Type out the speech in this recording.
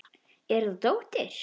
Er þetta dóttir.